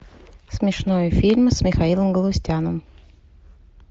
смешной фильм с михаилом галустяном